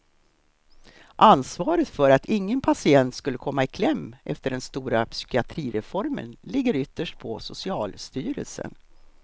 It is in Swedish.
Ansvaret för att ingen patient skulle komma i kläm efter den stora psykiatrireformen ligger ytterst på socialstyrelsen.